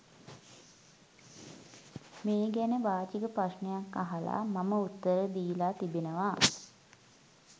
මේ ගැන වාචික ප්‍රශ්නයක් අහලා මම උත්තර දීලා තිබෙනවා.